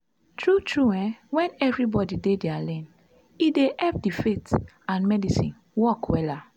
tru tru eh wen everybodi dey dia lane e dey epp di faith and medicine work wella